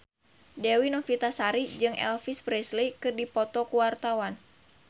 Dewi Novitasari jeung Elvis Presley keur dipoto ku wartawan